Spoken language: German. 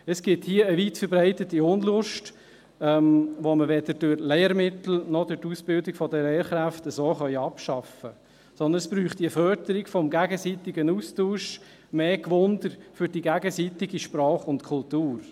Es gibt hier eine weit verbreitete Unlust, die wir weder durch Lehrmittel noch durch die Ausbildung der Lehrkräfte abschaffen können, sondern es bräuchte eine Förderung des gegenseitigen Austausches, mehr Neugier für die gegenseitige Sprache und Kultur.